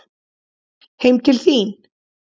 Heim til þín?